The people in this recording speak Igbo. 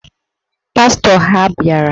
Pastọ ha bịara